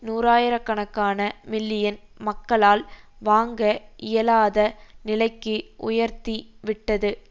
நூறாயிர கணக்கான மில்லியன் மக்களால் வாங்க இயலாத நிலைக்கு உயர்த்தி விட்டது